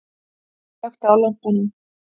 Ég slökkti á lampanum.